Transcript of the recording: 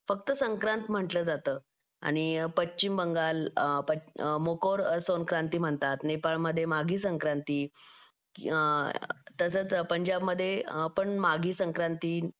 फक्त संक्रांत म्हणलं जातं आणि पश्चिम बंगाल मध्ये मोर संक्रांति म्हणतात नेपाळमध्ये माघी संक्रांती तसंच पंजाब मध्ये पण माघी संक्रांति